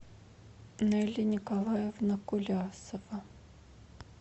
нелли николаевна кулясова